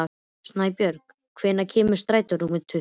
Snæbjörg, hvenær kemur strætó númer tuttugu?